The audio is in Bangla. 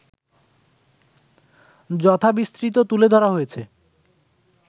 যথাবিস্তৃত তুলে ধরা হয়েছে